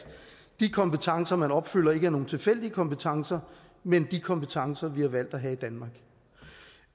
de kompetencer man opfylder ikke skal være nogen tilfældige kompetencer men de kompetencer vi har valgt at have i danmark